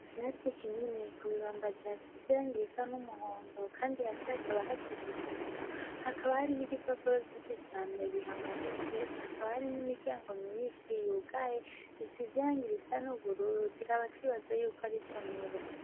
Kirasi kinini ku bibambazi hasizirangirisa n'umuhondo, kandi ha si hakaba hasizisima hakaba hari n'ibipapuro vy'ici cane bihamanitse hakaba hari n'imiryango myinshi yugaye isizirangi risa n'ubururu tukaba twibaza yuko ari somero.